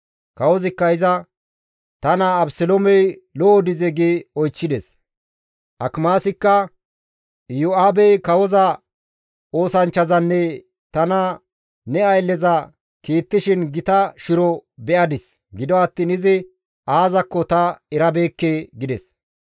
Kawozikka iza, «Ta naa Abeseloomey lo7o dizee?» gi oychchides. Akimaasikka, «Iyo7aabey kawoza oosanchchazanne tana ne aylleza kiittishin gita shiro be7adis; gido attiin izi aazakko ta erabeekke» gides.